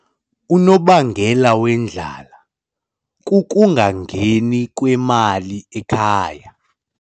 Unobangela wendlala kukungangeni kwemali ekhaya.